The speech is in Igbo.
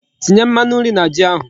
Tinye Mmanu nri na Ji ahu